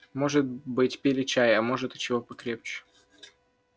может быть пили чай а может и чего покрепче